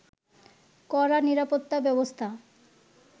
কড়া নিরাপত্তা ব্যবস্থা